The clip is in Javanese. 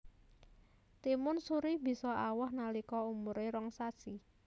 Timun suri bisa awoh nalika umuré rong sasi